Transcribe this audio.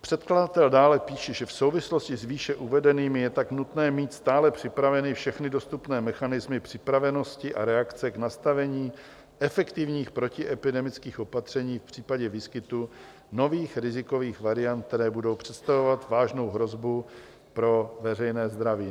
Předkladatel dále píše, že v souvislosti s výše uvedeným je tak nutné mít stále připraveny všechny dostupné mechanismy připravenosti a reakce k nastavení efektivních protiepidemických opatření v případě výskytu nových rizikových variant, které budou představovat vážnou hrozbu pro veřejné zdraví.